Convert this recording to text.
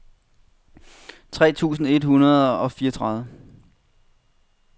tre tusind et hundrede og fireogtredive